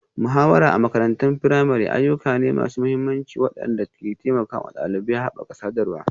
Muhawara a makarantar firamare ayyuka ne masu mahimmanci waɗanda ke taimakawa ɗalibai haɓaka sadarwa,